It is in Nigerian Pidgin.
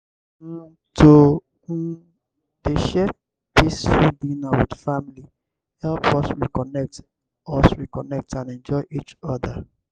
um to um dey share peaceful dinner with family helps us reconnect us reconnect and enjoy each other.